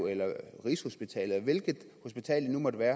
eller rigshospitalet eller hvilket hospital det nu måtte være